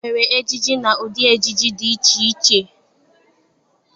E nwere ejiji na ụdị ejiji dị iche iche.